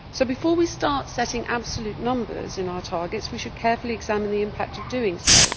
So, before we start setting absolute numbers in our targets, we should carefully examine the impact of doing so.